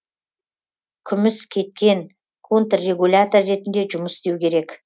күміскеткен контррегулятор ретінде жұмыс істеу керек